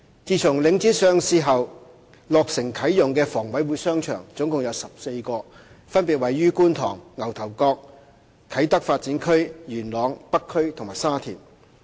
自從領展上市後，落成啟用的房委會商場共有14個，分別位於觀塘、牛頭角、啟德發展區、元朗、北區和沙田。